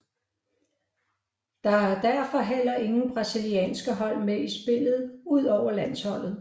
Der er derfor heller ingen brasilienske hold med i spillet udover landsholdet